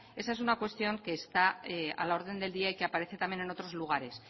esa es una cuestión que está a la orden del día y que aparece también en otros lugares